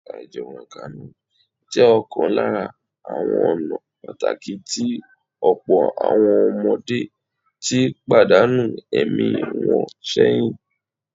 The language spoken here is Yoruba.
Àìjẹunrekánú jẹ ọ̀kan lára ​​àwọn ọ̀nà pàtàkì tí ọ̀pọ̀ àwọn ọmọdé ti pàdánù ẹ̀mí wọn sẹ́yìn